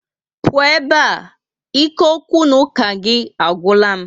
Pụọ ebe a! ike okwu na oku gị agwula m ike